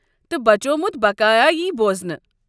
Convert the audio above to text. تہٕ بچومُت بقایا یی بوزنہٕ۔